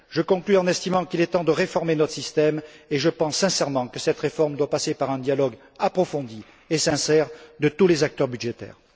Je conclus en estimant qu'il est temps de réformer notre système, et je pense sincèrement que cette réforme doit passer par un dialogue approfondi et sincère de tous les acteurs budgétaires.